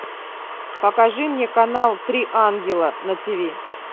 покажи мне канал три ангела на тв